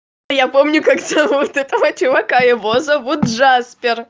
и я помню как теперь зовут этого чувака его зовут джаспер